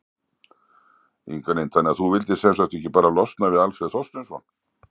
Inga Lind: Þannig að þú vildir sem sagt ekki bara losna við Alfreð Þorsteinsson?